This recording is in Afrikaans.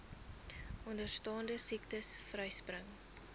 onderstaande siektes vryspring